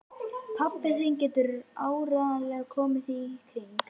Pabbi þinn getur áreiðanlega komið því í kring